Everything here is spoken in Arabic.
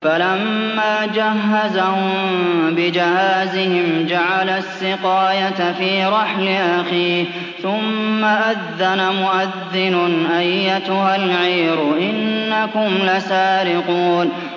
فَلَمَّا جَهَّزَهُم بِجَهَازِهِمْ جَعَلَ السِّقَايَةَ فِي رَحْلِ أَخِيهِ ثُمَّ أَذَّنَ مُؤَذِّنٌ أَيَّتُهَا الْعِيرُ إِنَّكُمْ لَسَارِقُونَ